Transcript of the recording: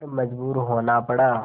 पर मजबूर होना पड़ा